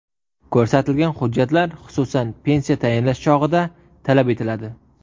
Ko‘rsatilgan hujjatlar, xususan, pensiya tayinlash chog‘ida talab etiladi.